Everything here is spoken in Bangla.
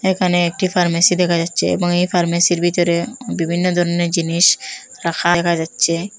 এখানে একটি ফার্মেসি দেখা যাচ্ছে এবং এ ফার্মেসির ভিতরে বিভিন্ন ধরনের জিনিস রাখা দেখা যাচ্ছে।